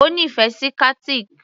O nífẹ̀ẹ́ sí Qatiq?